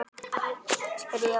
spurði Jóel.